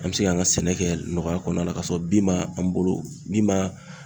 An mi se k'an ka sɛnɛ kɛ nɔgɔya kɔnɔna la ka sɔrɔ bin m'an bolo min ma